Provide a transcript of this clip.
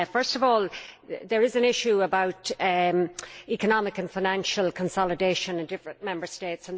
First of all, there is an issue about economic and financial consolidation in different Member States.